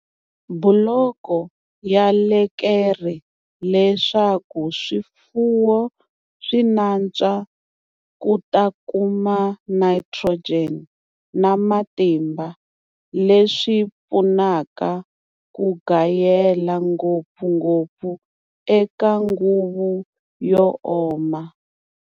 Buloko ya lekere leswaku swifuwo swi nantswa ku ta kuma nitrogen na matimba leswi pfunaka ku gayela, ngopfungopfu eka nguvu yo oma.